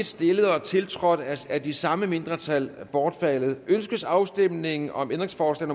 stillet og tiltrådt af de samme mindretal bortfaldet ønskes afstemning om ændringsforslag